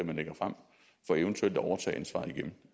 man lægger frem for eventuelt at overtage ansvaret igen